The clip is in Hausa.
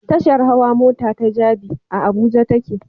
Tashar hawa mota ta Jabi, a Abuja take